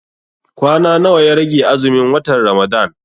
Kwana nawa ya rage azumin watan Ramadan?